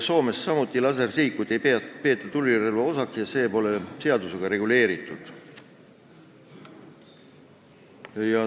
Soomes ei peeta lasersihikuid samuti tulirelva osaks ja need ei ole seadusega reguleeritud.